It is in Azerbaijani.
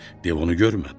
Dev onu görmədi.